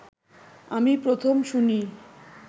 আমি প্রথম শুনি